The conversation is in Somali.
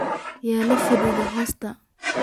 Yuulafadaa hosta.